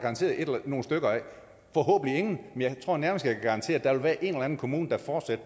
nogle stykker af forhåbentlig ingen men jeg tror nærmest jeg kan garantere at der vil være en eller anden kommune der fortsat